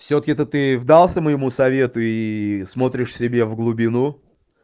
всё-таки это ты вдался моему совету и смотришь себе в глубину